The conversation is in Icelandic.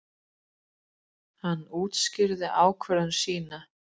Hann útskýrði þá ákvörðun sína.